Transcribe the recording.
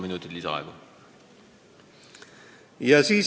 Palun!